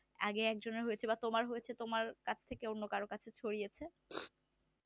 আগে একজনের হয়েছিল সেই জন্য তোমার হয়েছে সেই জন্য কারো কাছে ছড়িয়েছে